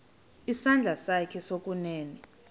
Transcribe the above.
isandla sakho sokunene